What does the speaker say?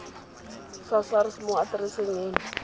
sa sars mo atereseng eno